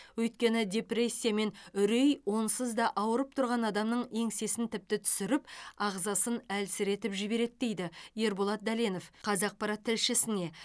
өйткені депрессия мен үрей онсыз да ауырып тұрған адамның еңсесін тіпті түсіріп ағзасын әлсіретіп жібереді дейді ерболат дәленов қазақпарат тілшісіне